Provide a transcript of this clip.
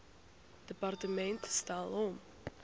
departement stel hom